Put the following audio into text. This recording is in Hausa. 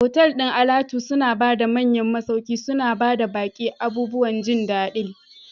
Otal ɗin alatu suna ba da manyan masauki, suna ba baƙi abubuwan jin daɗiI.